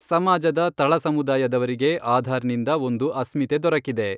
ಸಮಾಜದ ತಳ ಸಮುದಾಯದವರಿಗೆ ಆಧಾರ್ನಿಂದ ಒಂದು ಅಸ್ಮಿತೆ ದೊರಕಿದೆ.